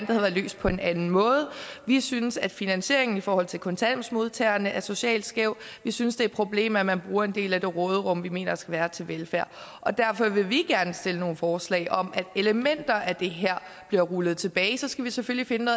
det var løst på en anden måde vi synes at finansieringen i forhold til kontanthjælpsmodtagerne er socialt skæv vi synes det er et problem at man bruger en del af det råderum vi mener der skal være til velfærd derfor vil vi gerne stille nogle forslag om at elementer af det her bliver rullet tilbage så skal vi selvfølgelig finde